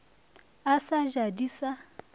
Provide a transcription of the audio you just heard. a sa ja di sa